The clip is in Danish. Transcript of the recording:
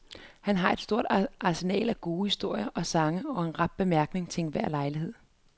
Han har et stort arsenal af gode historier og sange og en rap bemærkning til enhver lejlighed.